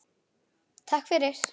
Takk fyrir